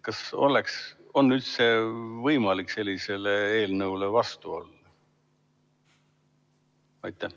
Kas on üldse võimalik sellisele eelnõule vastu olla?